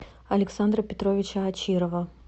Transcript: александра петровича очирова